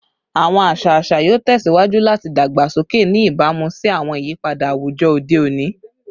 Awọn aṣa aṣa yoo tẹsiwaju lati dagbasoke, ni ibamu si awọn iyipada awujọ ode oni